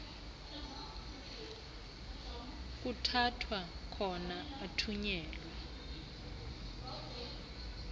kuthathwa khona athunyelwe